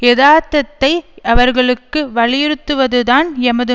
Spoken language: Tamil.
எதார்த்தத்தை அவர்களுக்கு வலியுறுத்தவதுதான் எமது